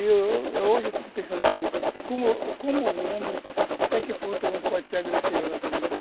Eu, eu hoje eu fico pensando assim, como como o homem, até que ponto o homem pode ser agressivo à natureza, né?